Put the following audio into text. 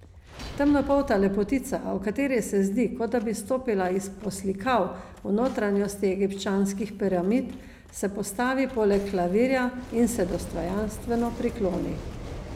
Temnopolta lepotica, o kateri se zdi, kot da bi stopila iz poslikav v notranjosti egipčanskih piramid, se postavi poleg klavirja in se dostojanstveno prikloni.